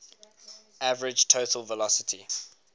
average total velocity